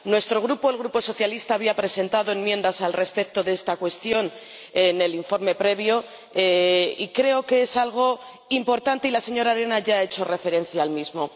Nuestro Grupo, el Grupo socialista, había presentado enmiendas respecto de esta cuestión en el informe previo, y creo que es algo importante y la señora Arena ya ha hecho referencia al mismo.